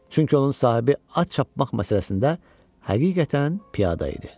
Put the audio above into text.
Çünki onun sahibi at çapmaq məsələsində həqiqətən piyada idi.